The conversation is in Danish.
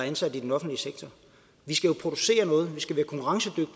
ansatte i den offentlige sektor vi skal jo producere noget